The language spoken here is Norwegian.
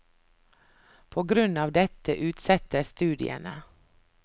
På grunn av dette utsettes studiene.